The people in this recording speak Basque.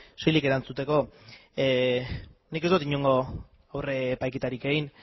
soilik erantzuteko nik ez dut inongo epaiketarik egin